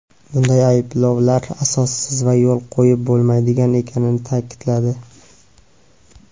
bunday ayblovlar asossiz va yo‘l qo‘yib bo‘lmaydigan ekanini ta’kidladi.